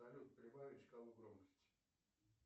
салют прибавить шкалу громкости